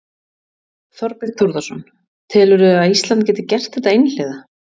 Þorbjörn Þórðarson: Telurðu að Ísland gæti gert þetta einhliða?